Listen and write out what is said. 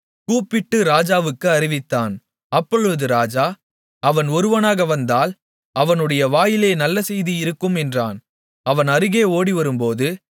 கூப்பிட்டு ராஜாவுக்கு அறிவித்தான் அப்பொழுது ராஜா அவன் ஒருவனாக வந்தால் அவனுடைய வாயிலே நல்ல செய்தி இருக்கும் என்றான் அவன் அருகே ஓடிவரும்போது